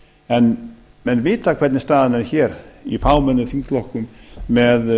en menn vita hvernig staðan er hér í fámennum þingflokkum með